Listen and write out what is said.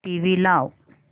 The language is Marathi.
टीव्ही लाव